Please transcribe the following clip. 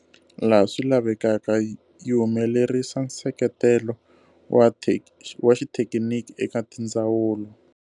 Laha swi lavekaka, yi humelerisa nseketelo wa xithekiniki eka tindzawulo.